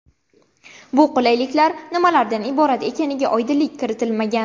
Bu qulayliklar nimalardan iborat ekaniga oydinlik kiritilmagan.